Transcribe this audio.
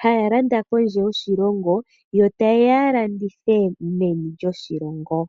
haya landa kondje yoshilongo, yo ta yeya landithe meni lyoshilongo.